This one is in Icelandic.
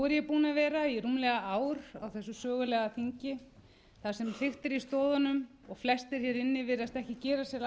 búin að vera í rúmlega ár á þessu sögulega þingi þar sem hriktir í stoðunum og flestir hér inni virðast ekki gefa sér